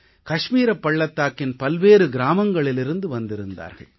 கஷ்மீரப் பள்ளத்தாக்கின் பல்வேறு கிராமங்களிலிருந்து வந்திருந்தார்கள்